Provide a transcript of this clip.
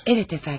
Evet əfəndim.